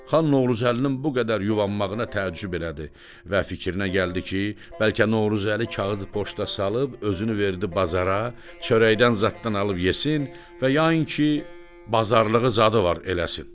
Xan Novruzəlinin bu qədər yubanmağına təəccüb elədi və fikrinə gəldi ki, bəlkə Novruzəli kağızı poçta salıb özünü verdi bazara, çörəkdən zaddan alıb yesin və yayın ki, bazarlığı zadı var eləsin.